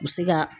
U bɛ se ka